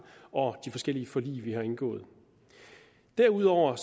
og de forskellige forlig vi har indgået derudover